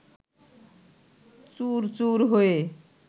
চুরচুর হয়ে